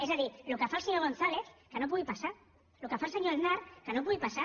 és a dir el que fa el senyor gonzález que no pugui passar el que fa el senyor aznar que no pugui passar